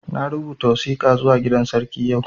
Na rubuta wasika zuwa gidan sarki yau